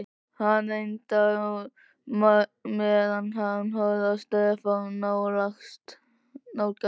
Hann reykti á meðan hann horfði á Stefán nálgast.